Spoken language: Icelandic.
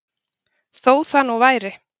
Þó það nú væri